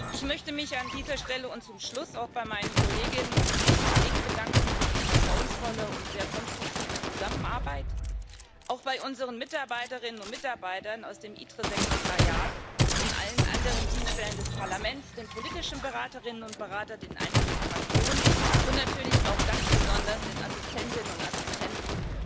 Ich möchte mich an dieser Stelle und zum Schluss auch bei meinen Kolleginnen und Kollegen für die vertrauensvolle und sehr konstruktive Zusammenarbeit bedanken, auch bei unseren Mitarbeiterinnen und Mitarbeitern aus dem ITRE Sekretariat und allen anderen Dienststellen des Parlaments, bei den politischen Beraterinnen und Beratern, den einzelnen Fraktionen, und natürlich möchte ich auch ganz besonders den Assistentinnen und Assistenten